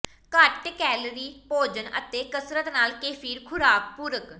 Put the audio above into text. ਘੱਟ ਕੈਲੋਰੀ ਭੋਜਨ ਅਤੇ ਕਸਰਤ ਨਾਲ ਕੇਫਿਰ ਖੁਰਾਕ ਪੂਰਕ